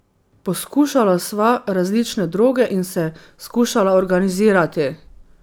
Poskušala sva različne droge in se skušala organizirati.